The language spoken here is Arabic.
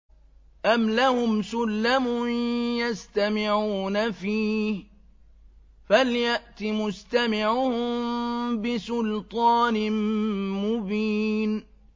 أَمْ لَهُمْ سُلَّمٌ يَسْتَمِعُونَ فِيهِ ۖ فَلْيَأْتِ مُسْتَمِعُهُم بِسُلْطَانٍ مُّبِينٍ